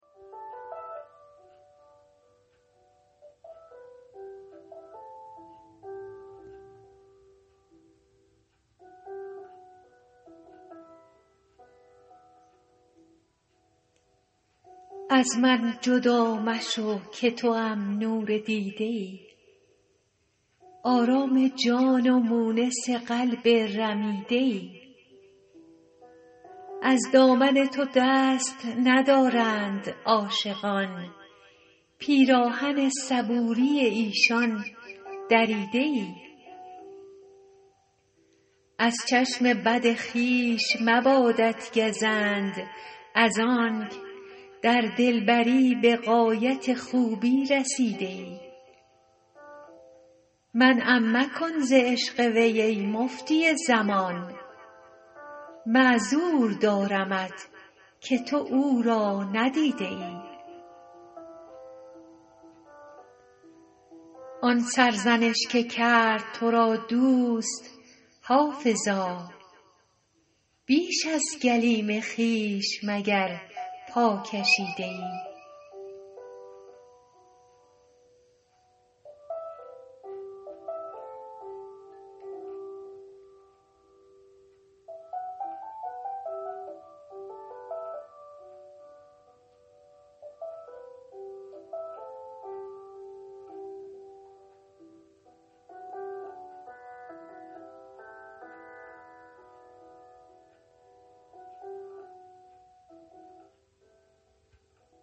از من جدا مشو که توام نور دیده ای آرام جان و مونس قلب رمیده ای از دامن تو دست ندارند عاشقان پیراهن صبوری ایشان دریده ای از چشم بخت خویش مبادت گزند از آنک در دلبری به غایت خوبی رسیده ای منعم مکن ز عشق وی ای مفتی زمان معذور دارمت که تو او را ندیده ای آن سرزنش که کرد تو را دوست حافظا بیش از گلیم خویش مگر پا کشیده ای